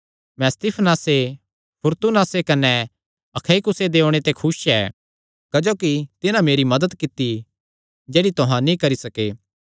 मैं स्तिफनासे फूरतूनातुसे कने अखइकुसे दे ओणे ते खुस ऐ क्जोकि तिन्हां मेरी मदत कित्ती जेह्ड़ी तुहां नीं करी सके